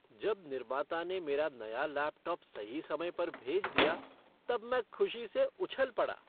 जब निर्माता ने मेरा नया लैपटॉप सही समय पर भेज दिया तब मैं खुशी से उछल पड़ा।